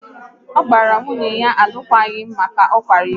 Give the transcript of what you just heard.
Ọ gbara nwunye ya alụkwaghịm maka na ọ kwara iko